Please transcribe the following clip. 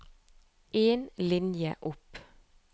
En linje opp